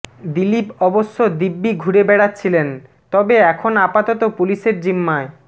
দিলীপ অবশ্য দিব্যি ঘুরে বেড়াচ্ছিলেন তবে এখন আপাতত পুলিশের জিম্মায়